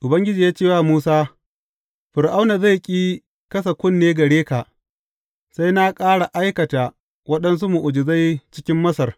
Ubangiji ya ce wa Musa, Fir’auna zai ƙi kasa kunne gare ka, sai na ƙara aikata waɗansu mu’ujizai cikin Masar.